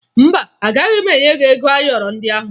Mba, agaghị m enye ya ego ayọrọ ndị ahụ